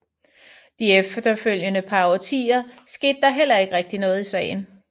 De efterfølgende par årtier skete der heller ikke rigtig noget i sagen